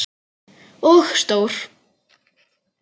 Og stór.